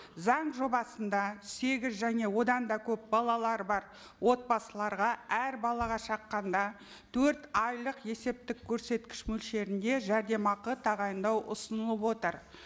заң жобасында сегіз және одан да көп балалары бар отбасыларға әр балаға шаққанда төрт айлық есептік көрсеткіш мөлшерінде жәрдемақы тағайындау ұсынылып отыр